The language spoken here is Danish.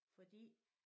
Fordi